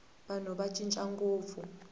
vanhu va cina ngopfu